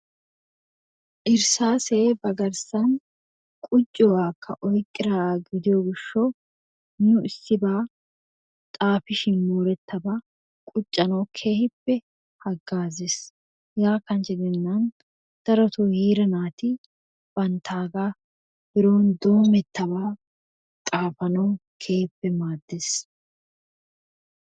Irssaasee ba garssan qucciyoobaakka oyqqi uttido gishawu nu issibaa xaafi shin moorettabaa quccanawu keehippe hagaazzees. hegaa kanchche gidennan darotoo nu heera naati bantaagaa biron doomettabaa xaafanawu keehippe maaddees.